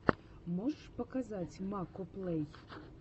можешь показать макоплэй